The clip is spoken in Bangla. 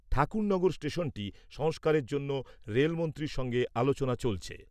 ঠাকুরনগর স্টেশনটি সংস্কারের জন্য রেলমন্ত্রীর সঙ্গে আলোচনা চলছে।